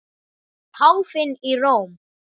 Páfinn í Róm.